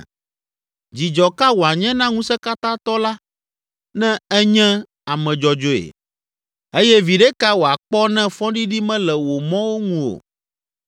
Dzidzɔ ka wòanye na Ŋusẽkatãtɔ la ne ènye ame dzɔdzɔe? Eye viɖe ka wòakpɔ ne fɔɖiɖi mele wò mɔwo ŋu o?